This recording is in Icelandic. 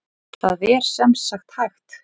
Það er sem sagt hægt.